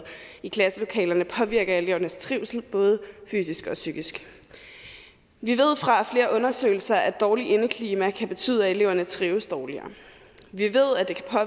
i klasselokalerne påvirker elevernes trivsel både fysisk og psykisk vi ved fra flere undersøgelser at dårligt indeklima kan betyde at eleverne trives dårligere vi